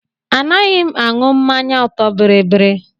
Anaghị m aṅụ mmanya ọtọ biribiri.